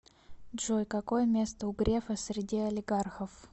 джой какое место у грефа среди олигархов